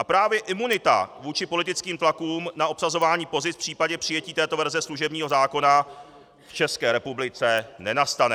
A právě imunita vůči politickým tlakům na obsazování pozic v případě přijetí této verze služebního zákona v České republice nenastane.